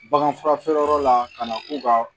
Baganfurafeereyɔrɔ la ka na k'u ka